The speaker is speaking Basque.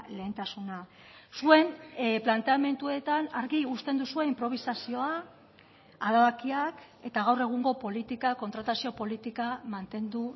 lehentasuna zuen planteamenduetan argi uzten duzue inprobisazioa adabakiak eta gaur egungo politika kontratazio politika mantendu